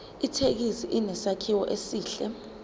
ithekisi inesakhiwo esihle